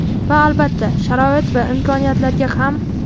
Va, albatta, sharoit va imkoniyatlarga ham.